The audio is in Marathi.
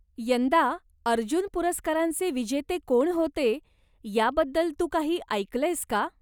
यंदा अर्जुन पुरस्कारांचे विजेते कोण होते याबद्दल तू काही ऐकलंयस का?